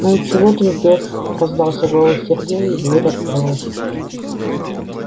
ну и чего ты ждёшь раздался голос сергея и дверь открылась